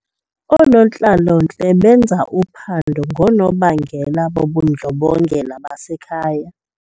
Oonontlalontle benza uphando ngoonobangela bobundlobongela basekhaya.